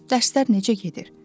Dərslər necə gedir?